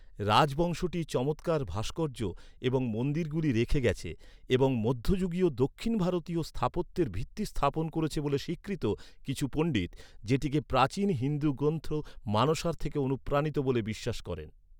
রাজবংশটি চমৎকার ভাস্কর্য এবং মন্দিরগুলি রেখে গেছে, এবং মধ্যযুগীয় দক্ষিণ ভারতীয় স্থাপত্যের ভিত্তি স্থাপন করেছে বলে স্বীকৃত, কিছু পণ্ডিত যেটিকে প্রাচীন হিন্দু গ্রন্থ মানসার থেকে অনুপ্রাণিত বলে বিশ্বাস করেন।